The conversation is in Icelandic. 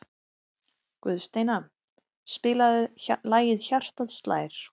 Guðsteina, spilaðu lagið „Hjartað slær“.